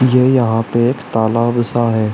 ये यहां पे एक तालाब सा है।